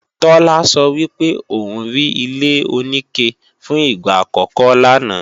Tola sọ wípé òun rí ilé-oníke fún ìgbà àkọ́kọ́ lánàá